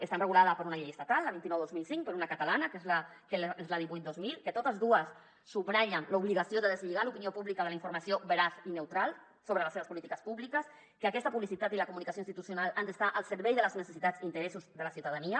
està regulada per una llei estatal la vint nou dos mil cinc per una catalana que és la divuit dos mil que totes dues subratllen l’obligació de deslligar l’opinió pública de la informació veraç i neutral sobre les seves polítiques públiques que aquesta pu·blicitat i la comunicació institucional han d’estar al servei de les necessitats i interes·sos de la ciutadania